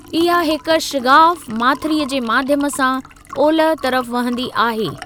इहा हिक शिगाफ़ माथिरीअ जे माध्यम सां ओलह तरफ वहंदी आहे।